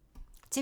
TV 2